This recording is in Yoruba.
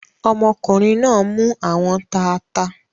Ọmọkùnrin náa mú àwọn taata.